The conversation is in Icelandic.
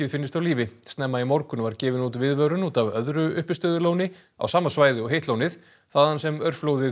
finnist á lífi snemma í morgun var gefin út viðvörun út af öðru uppistöðulóni á sama svæði og hitt lónið þaðan sem